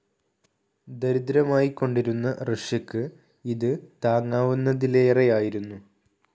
ദരിദ്രമായിക്കൊണ്ടിരുന്ന റഷ്യക്ക് ഇത് താങ്ങാവുന്നതിലേറെയായിരുന്നു.